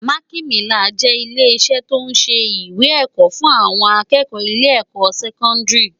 Mákimilán jè ilé isè tó n sé iwé èkò fun áwòn ákëkò ilè èkò sèkòndári